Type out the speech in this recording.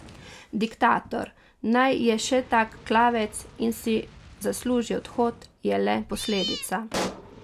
Diktator, naj je še tak klavec in si zasluži odhod, je le posledica.